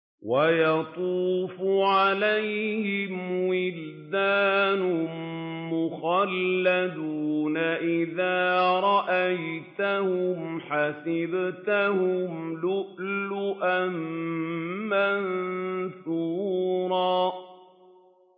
۞ وَيَطُوفُ عَلَيْهِمْ وِلْدَانٌ مُّخَلَّدُونَ إِذَا رَأَيْتَهُمْ حَسِبْتَهُمْ لُؤْلُؤًا مَّنثُورًا